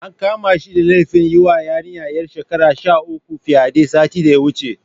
An kama shi da laifin yiwa yarinya ƴar shekara sha uku fyaɗe, satin da ya wuce.